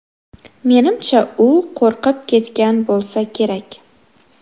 Menimcha, u qo‘rqib ketgan bo‘lsa kerak.